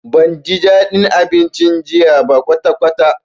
Banji dadin abincin jiya ba kwatakwata.